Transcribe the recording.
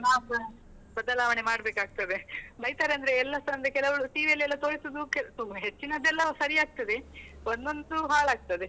ನಾವ್ಸ ಬದಲಾವಣೆ ಮಾಡಬೇಕಾಗ್ತದೆ, ಬೈತಾರಂದ್ರೆ ಎಲ್ಲಾಸ ಅಂದ್ರೆ ಕೆಲವು TV ಅಲ್ಲೆಲ್ಲ ತೋರಿಸುದು ಸುಮ್ನೆ ಹೆಚ್ಚಿನದೆಲ್ಲ ಸರಿ ಆಗ್ತದೆ, ಒಂದೊಂದು ಹಾಳಾಗ್ತದೆ.